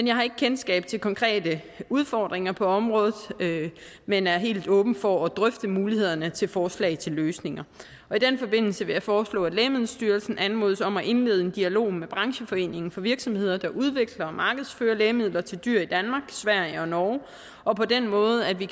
jeg har ikke kendskab til konkrete udfordringer på området men er helt åben over for at drøfte mulighederne til forslag til løsninger i den forbindelse vil jeg foreslå at lægemiddelstyrelsen anmodes om at indlede en dialog med brancheforeningen for virksomheder der udvikler og markedsfører lægemidler til dyr i danmark sverige og norge og på den måde kan vi